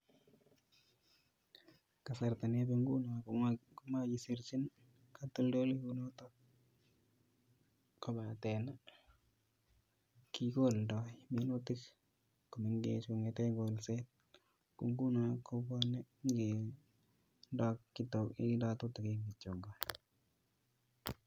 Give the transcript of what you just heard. Kasarta nebo nguno komakeserchin katoldolaik kunoto kobate kikoldoi minutik komengech kongete kolset. Ko nguno ko........?